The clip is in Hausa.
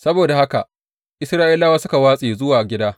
Saboda haka Isra’ilawa suka watse zuwa gida.